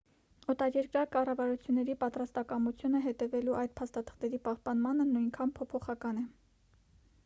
օտարերկրյա կառավարությունների պատրաստակամությունը հետևելու այդ փաստաթղթերի պահպանմանը նույնքան փոփոխական է